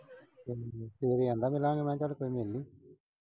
ਸਵੇਰੇ ਆਂਹਦਾ ਮਿਲਾਂਗੇ। ਮੈਂ ਕਿਹਾ ਚੱਲ ਕੋਈ ਨਈਂ ਮਿਲ ਲਈਂ।